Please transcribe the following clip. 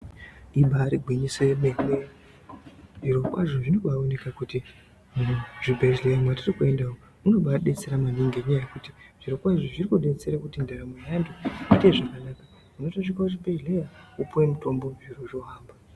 Ibari gwinyiso yemene, zviro kwazvo zvinoba aoneka kuti muzvibhedhleya mwetiri kuenda, munoba abetsera maningi ngenyaya yekuti zviro kwazvo zvinobetsera kuti ndaramo yeantu aite zvakanaka, unotosvika kuzvibhedhleya wopuwa mutombo zviro zvohamba.